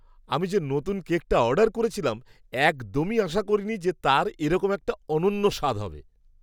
আমি যে নতুন কেকটা অর্ডার করেছিলাম, একদমই আশা করিনি যে তার এরকম একটা অনন্য স্বাদ হবে!